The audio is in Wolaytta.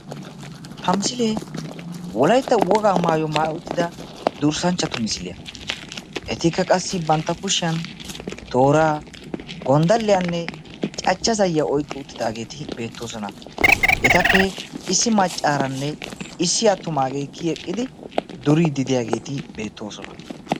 ha misilee wolaytta wogaa maayuwa maayyi uttida etikka qassi bantta kushiyan toora gonddaliyanne cachcha zayyiya oyqqi uttidaageeti beettoosna. etappe issi maccaaranne issi attumaagee kiyyi eqqidi duriidi diyaageeti beettoosona.